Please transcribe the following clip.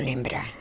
Lembrar.